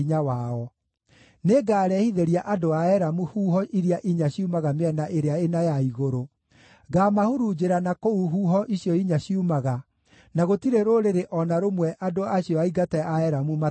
Nĩngarehithĩria andũ a Elamu huho iria inya ciumaga mĩena ĩrĩa ĩna ya igũrũ; ngaamahurunjĩra na kũu huho icio inya ciumaga, na gũtirĩ rũrĩrĩ o na rũmwe andũ acio aingate a Elamu matakoorĩra.